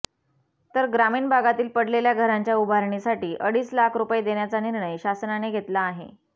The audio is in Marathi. तर ग्रामीण भागातील पडलेल्या घरांच्या उभारणीसाठी अडीच लाख रुपये देण्याचा निर्णय शासनाने घेतला आहे